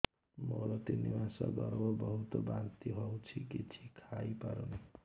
ମୋର ତିନି ମାସ ଗର୍ଭ ବହୁତ ବାନ୍ତି ହେଉଛି କିଛି ଖାଇ ପାରୁନି